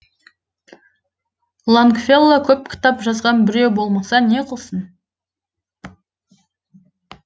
лонгфелло көп кітап жазған біреу болмаса не қылсын